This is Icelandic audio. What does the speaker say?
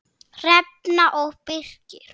Hrefna og Birkir.